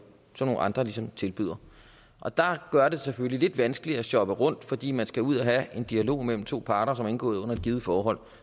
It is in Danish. som nogle andre ligesom tilbyder og der gør det det selvfølgelig lidt vanskeligere at shoppe rundt fordi man skal ud at have en dialog mellem to parter som er indgået under et givet forhold